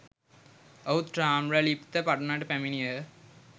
ඔව්හු තාම්‍රලිප්ති පටුනට පැමිණියහ.